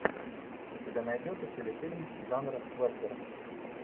у тебя найдется телефильм жанра вестерн